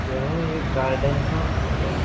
यह एक गार्डन का फोटो है।